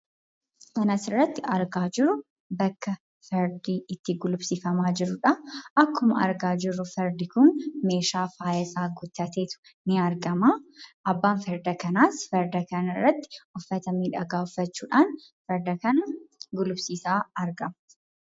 Kan asirratti argaa jirru bakka fardi itti guluulsiifama jirudha. akkuma argaa jirru fardi kun meesha faayaa isaa guttateetu ni argama. Abbaan farda kanaas farda kanarratti uffata miidhaga uffachuudhan farda kana guluufsiisa argaama.